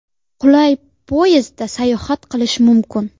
Qulay poyezdda sayohat qilish mumkin.